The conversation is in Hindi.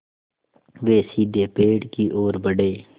वे सीधे पेड़ की ओर बढ़े